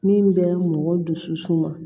Min bɛ mɔgɔ dusu suma